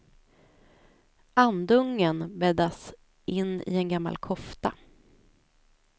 Andungen bäddas in i en gammal kofta.